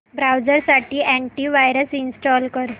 browser साठी antivirus install कर